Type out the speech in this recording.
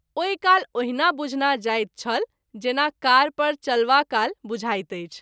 ओहि काल ओहिना बुझना जाइत छल जेना कार पर चलवाकाल बुझाइत अछि।